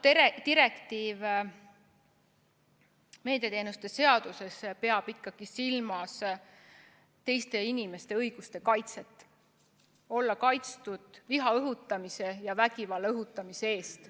Selle direktiivi ülevõtmisega meediateenuste seadusesse peetakse ikkagi silmas teiste inimeste õiguste kaitset – olla kaitstud viha ja vägivalla õhutamise eest.